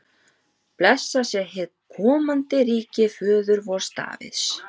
Blessað sé hið komandi ríki föður vors Davíðs!